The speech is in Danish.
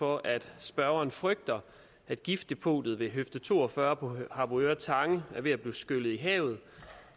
for at spørgeren frygter at giftdepotet ved høfde to og fyrre på harboøre tange er ved at blive skyllet i havet